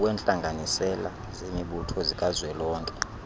wentlanganisela zemibutho zikazwelonke